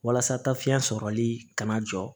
Walasa ta fiɲɛ sɔrɔli kana na jɔ